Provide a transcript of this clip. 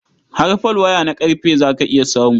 Har folwaya na ƙarfe za ka iya samu.